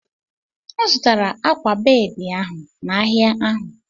M zụtara akwa bedị ahụ n'ahịa ahụ.